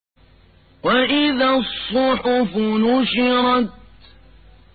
وَإِذَا الصُّحُفُ نُشِرَتْ